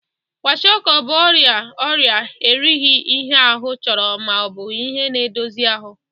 Kwashịọkọ bụ ọrịa ọrịa erighi ihe ahụ chọrọ ma ọ bụ ihe na-edosi ahụ.